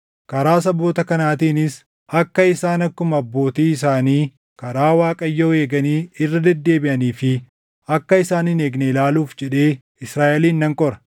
Karaa saboota kanaatiinis akka isaan akkuma abbootii isaanii karaa Waaqayyoo eeganii irra deddeebiʼanii fi akka isaan hin eegne ilaaluuf jedhee Israaʼelin nan qora.”